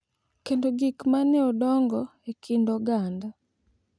kendo gik ma ne odongo e kind oganda.